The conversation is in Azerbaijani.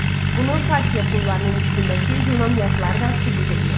Bunu Parfiya pullarının üstündəki Yunan yazıları da sübut eləyir.